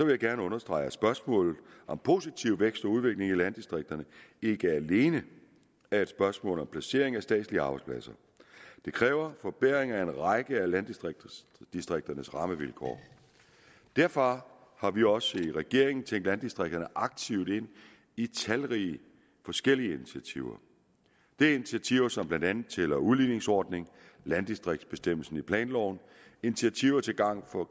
jeg gerne understrege at spørgsmålet om positiv vækst og udvikling i landdistrikterne ikke alene er et spørgsmål om placering af statslige arbejdspladser det kræver forbedring af en række af landdistrikternes rammevilkår derfor har vi også i regeringen tænkt landdistrikterne aktivt ind i talrige forskellige initiativer det er initiativer som blandt andet tæller udligningsordningen landdistriktsbestemmelsen i planloven initiativer til gavn for